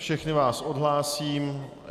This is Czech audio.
Všechny vás odhlásím.